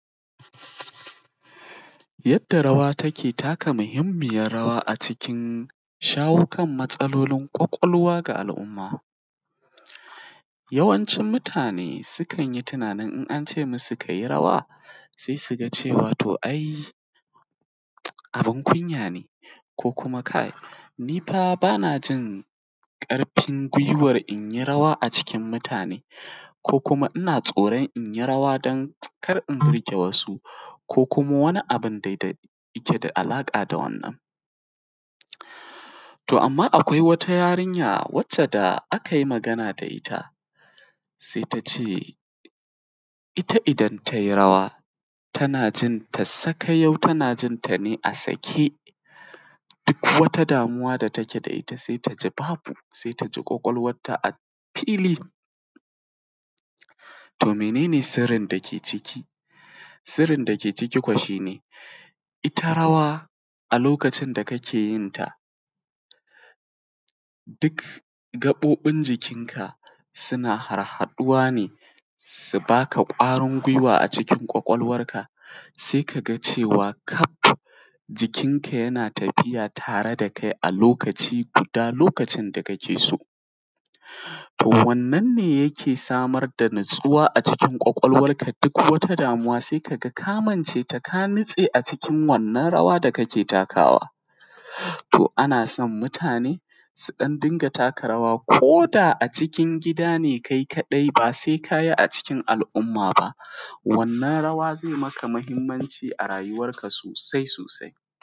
Yadda rawa take taka muhimmin rawa akan shawo kan matsalan kwakwalwan al’umma yawancin mutane sukan yi tunanin in an ce musu rawa se su ga cewa to ai abin kunya ne ko kuma kai ni fa ba na jin ƙarfin giwan in yi rawa a cikin mutane ko kuma ina tsoran in yi rawa kar in bige wasu ko kuma wani abun dai da yake da alaƙa da wannan. To, amma akwai wata yarinya wacce da akai magana da ita sai ta ce ita idan gai rawa tana jin ta saka yau, tana jin ta sake duk wata damuwa da take da ita ta ji babu, wasai ta ji kwakwalwanta fili to menene sirrin dake ciki? Sirrin da ke ciki shi ne ita rawa a lokacin da kake yin ta duk gaɓoɓin jikin ka suna harhaɗuwa ne, su ba ka kwarin giwa a kwakwalwanka; se ka ga cewa jikinka yana tafiya tare da kai lokaci, a duk lokacin da kake so. To, wane ne yake samar da natsuwa a kwakwalwanka? Duk wata damuwa, ka ga kamance ta ka nitse a cikin wannan rawa da kake takawa, to ana son mutane su ɗan dinga taka rawa koda a cikin gida ne kai kaɗai, ba sai ka yi a cikin al’umma ba wannan rawa ze maka mahimmanci a rayuwanka sosai-sosai.